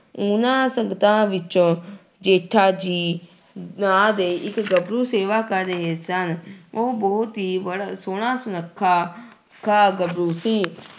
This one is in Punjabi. ਉਹਨਾਂ ਸੰਗਤਾਂ ਵਿੱਚੋਂ ਜੇਠਾ ਜੀ ਨਾਂ ਦੇ ਇੱਕ ਗੱਭਰੂ ਸੇਵਾ ਕਰ ਰਹੇ ਸਨ ਉਹ ਬਹੁਤ ਹੀ ਬੜਾ ਸੋਹਣਾ ਸੁਨੱਖਾ ਖਾ ਗੱਭਰੂ ਸੀ।